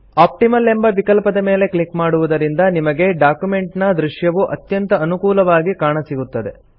optimal ಎಂಬ ವಿಕಲ್ಪದ ಮೇಲೆ ಕ್ಲಿಕ್ ಮಾಡುವುದರಿಂದ ನಿಮಗೆ ಡಾಕ್ಯುಮೆಂಟಿನ ದೃಶ್ಯವು ಅತ್ಯಂತ ಅನುಕೂಲವಾಗಿ ಕಾಣಸಿಗುತ್ತದೆ